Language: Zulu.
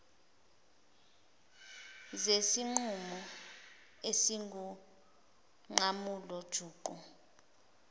zesinqumo esingunqamula juqu